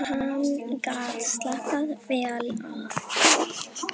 Hann gat slappað vel af.